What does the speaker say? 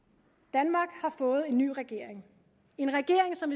danmark har fået en ny regering en regering som